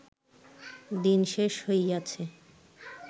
দিন শেষ হইয়াছে